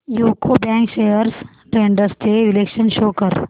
UCO bank shares trends चे विश्लेषण show कर